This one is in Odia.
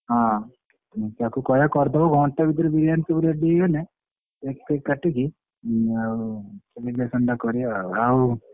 ତାକୁ କହିଆ କରଦବ ଘଣ୍ଟେ ଭିତରେ ବିରିୟାନି ସବୁ ready କରଦେଲେ cake ଫେକ କାଟି କି ଆଉ celebration ଟା କରିବା ଆଉ। ଆଉ,